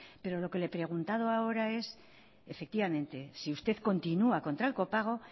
pero lo que le he preguntado ahora es efectivamente si usted continua contra el copago